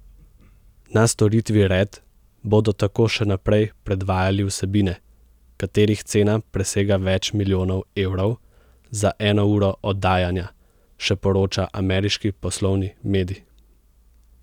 Na storitvi Red bodo tako še naprej predvajali vsebine, katerih cena presega več milijonov evrov za eno uro oddajanja, še poroča ameriški poslovni medij.